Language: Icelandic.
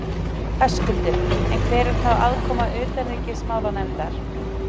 Höskuldur: En hver er þá aðkoma utanríkismálanefndar?